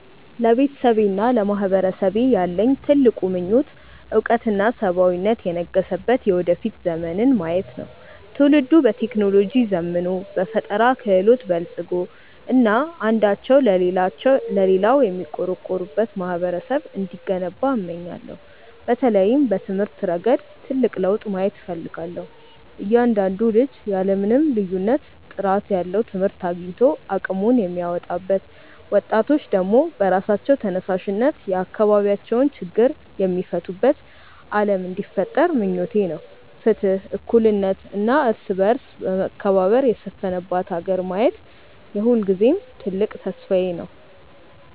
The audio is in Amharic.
ለቤተሰቤና ለማህበረሰቤ ያለኝ ትልቁ ምኞት እውቀትና ሰብአዊነት የነገሰበት የወደፊት ዘመንን ማየት ነው። ትውልዱ በቴክኖሎጂ ዘምኖ፣ በፈጠራ ክህሎት በልፅጎ እና አንዳቸው ለሌላው የሚቆረቆሩበት ማህበረሰብ እንዲገነባ እመኛለሁ። በተለይም በትምህርት ረገድ ትልቅ ለውጥ ማየት እፈልጋለሁ፤ እያንዳንዱ ልጅ ያለ ምንም ልዩነት ጥራት ያለው ትምህርት አግኝቶ አቅሙን የሚያወጣበት፣ ወጣቶች ደግሞ በራሳቸው ተነሳሽነት የአካባቢያቸውን ችግር የሚፈቱበት ዓለም እንዲፈጠር ምኞቴ ነው። ፍትህ፣ እኩልነት እና የእርስ በርስ መከባበር የሰፈነባት ሀገር ማየት የሁልጊዜም ትልቅ ተስፋዬ ነው።